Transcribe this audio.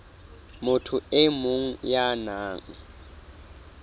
motho e mong ya nang